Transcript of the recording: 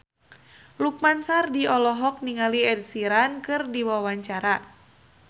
Lukman Sardi olohok ningali Ed Sheeran keur diwawancara